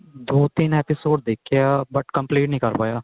ਦੋ ਤਿੰਨ episode ਦੇਖੇ ਆ but complete ਨਹੀਂ ਕਰ ਪਾਇਆ